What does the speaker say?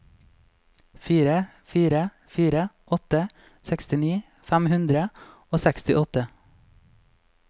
fire fire fire åtte sekstini fem hundre og sekstiåtte